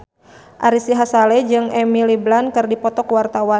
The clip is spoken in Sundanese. Ari Sihasale jeung Emily Blunt keur dipoto ku wartawan